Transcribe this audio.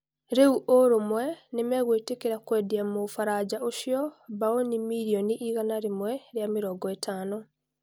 Rĩu ũrũmwe nĩmegũitĩkĩra kũmwendia Mũbaraja ũcio mbaũni mirioni igana rĩmwe rĩa mĩrongo ĩtano.